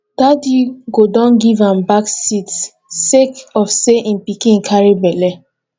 daddy go don give am back seat sake of sey im pikin carry belle